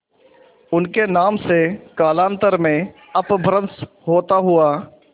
उनके नाम से कालांतर में अपभ्रंश होता हुआ